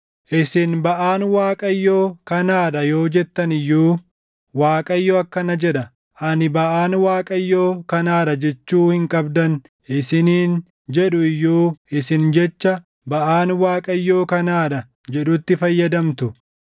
Isin, ‘Baʼaan Waaqayyo kanaa dha’ yoo jettan iyyuu, Waaqayyo akkana jedha; ani ‘Baʼaan Waaqayyoo kanaa dha’ jechuu hin qabdan isiniin jedhu iyyuu isin jecha, ‘Baʼaan Waaqayyoo kanaa dha’ jedhutti fayyadamtu.